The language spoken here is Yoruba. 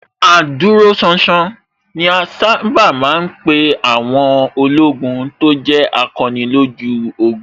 Adúróṣánṣán ni a sábà ma ń pè àwọn ológun tó jẹ́ akọni lójú ogun